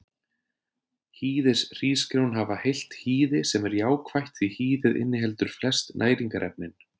Hýðishrísgrjón hafa heilt hýði sem er jákvætt því hýðið inniheldur flest næringarefnin.